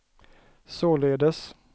således